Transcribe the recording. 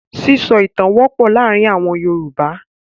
Sísọ ìtan wọ́pọ̀ láàárin àwọn Yorùbá.